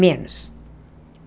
Menos.